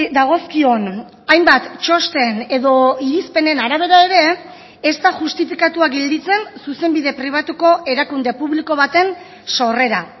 dagozkion hainbat txosten edo irizpenen arabera ere ez da justifikatua gelditzen zuzenbide pribatuko erakunde publiko baten sorrera